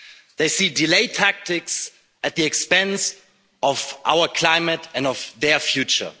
They see delay tactics at the expense of our climate and of their future.